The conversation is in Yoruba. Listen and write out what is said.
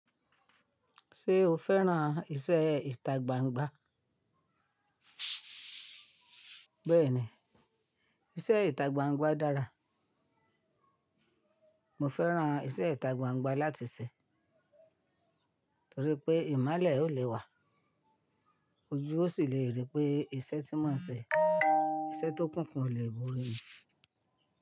Ṣé o fẹ́ràn iṣẹ́ ìtagbangba? Bẹ́ẹ̀ni, iṣẹ́ ìtagbangba dára. Mo fẹ́ràn iṣẹ́ ìtagbangba láti ṣe torí pé ìmọ́lẹ̀ ò le wà. Ojú ò sì le rí pé iṣẹ́ tí mo ń ṣe. Iṣẹ́ tó kúnkún ò le bu ní.